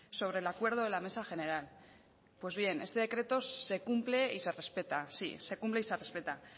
sobre el acuerdo de la mesa general pues bien este decreto se cumple y se respeta sí se cumple y se respeta